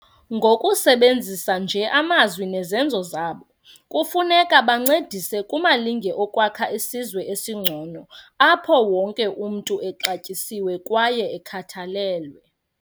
Ngokusebenzisa nje amazwi nezenzo zabo, kufuneka bancedise kumalinge okwakha isizwe esingcono apho wonke umntu exatyisiwe kwaye ekhathalelwe.